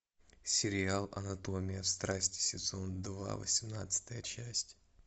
сериал анатомия страсти сезон два восемнадцатая часть